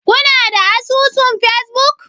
Kuna da asusun facebook?